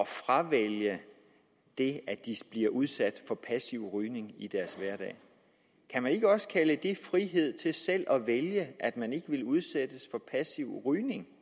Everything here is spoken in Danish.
fravælge det at de bliver udsat for passiv rygning i deres hverdag kan man ikke også kalde det frihed til selv at vælge at man ikke vil udsættes for passiv rygning